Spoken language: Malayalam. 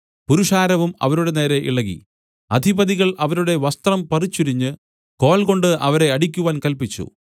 പുരുഷാരവും അവരുടെ നേരെ ഇളകി അധിപതികൾ അവരുടെ വസ്ത്രം പറിച്ചുരിഞ്ഞ് കോൽകൊണ്ട് അവരെ അടിക്കുവാൻ കല്പിച്ചു